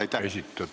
Aitäh!